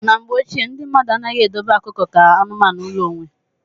Na mgbe ochie, ndị mmadụ anaghị edobe ọkụkọ ka anụmanụ ụlọ onwe.